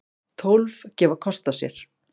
Tólf gefa kost á sér.